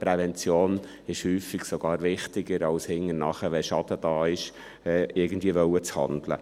Prävention ist häufig sogar wichtiger, als hinterher, wenn ein Schaden da ist, irgendwie handeln zu wollen.